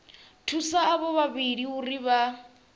thusa avho vhavhili uri vha